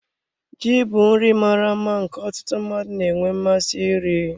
Ji bụ nri mara mma nke ọtụtụ mmadụ na-enwe mmasị iri.